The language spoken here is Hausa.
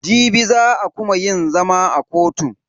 Jibi za a kuma yin zama a kotun.